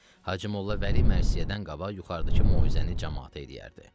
Hacı Molla Vəli mərsiyədən qabaq yuxarıdakı moizəni camaata eləyərdi.